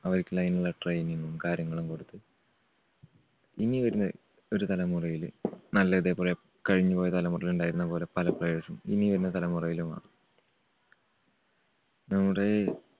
അവർക്കുള്ള അതിനുള്ള training ഉം കാര്യങ്ങളും കൊടുത്ത് ഇനി വരുന്ന ഒരു തലമുറയില് നല്ല ഇതേപോലെ കഴിഞ്ഞുപോയ തലമുറയിൽ ഉണ്ടായിരുന്നപോലെ പല players ഉം ഇനി വരുന്ന തലമുറയിലും വേണം. നമ്മുടെ ഈ